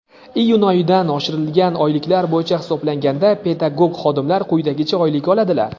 Iyun oyidan oshirilgan oyliklar bo‘yicha hisoblanganda pedagog xodimlar quyidagicha oylik oladilar:.